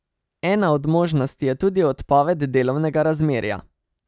Ena od možnosti je tudi odpoved delovnega razmerja.